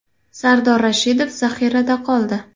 Sardor Rashidov zaxirada qoldi.